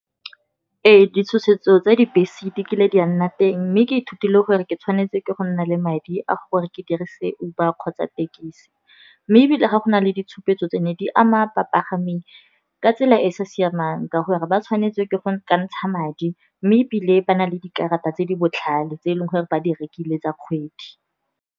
Ee, ditshosetso tsa dibese dikile di a nna teng, mme ke ithutile gore ke tshwanetse ke go nna le madi a gore ke dirise Uber kgotsa tekisi. Mme ebile ga go na le ditshupetso tse ne di ama bapagami ka tsela e e sa siamang, ka gore ba tshwanetswe ke go ka ntsha madi, mme ebile ba na le dikarata tse di botlhale tse eleng gore ba di rekile tsa kgwedi.